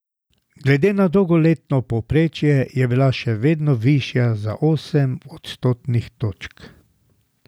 Glede na dolgoletno povprečje je bila še vedno višja za osem odstotnih točk.